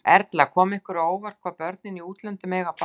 Erla: Kom ykkur á óvart, hvað börnin í útlöndum eiga bágt?